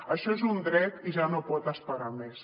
això és un dret i ja no pot esperar més